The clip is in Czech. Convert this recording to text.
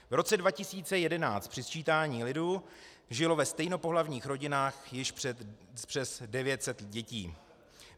V roce 2011 při sčítání lidu žilo ve stejnopohlavních rodinách již přes 900 dětí.